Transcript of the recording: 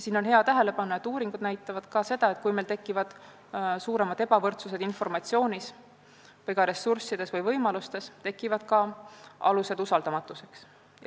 Siin võiks tähele panna, et uuringud näitavad, et kui meil tekivad suuremad ebavõrdsused informatsioonis või ka ressurssides või võimalustes, tekivad ka alused usaldamatuseks.